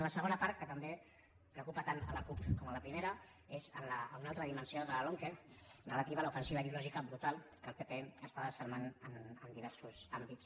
la segona part que també preocupa tant la cup com la primera és en una altra dimensió de la lomqe relativa a l’ofensiva ideològica brutal que el pp està desfermant en diversos àmbits